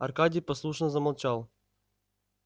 аркадий послушно замолчал